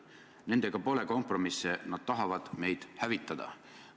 Nendega pole kompromisse, nad tahavad meid hävitada.